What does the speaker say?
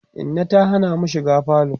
Inna ta Hana mu shiga falo